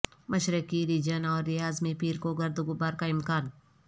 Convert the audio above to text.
مشرقی ریجن اور ریاض میں پیر کو گرد وغبار کا امکان